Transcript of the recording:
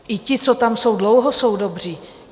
I ti, co tam jsou dlouho, jsou dobří.